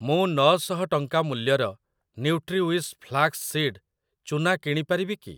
ମୁଁ ନ ଶହ ଟଙ୍କା ମୂଲ୍ୟର ନ୍ୟୁଟ୍ରିୱିଶ୍ ଫ୍ଲାକ୍ସ୍ ସୀଡ଼୍ ଚୂନା କିଣି ପାରିବି କି?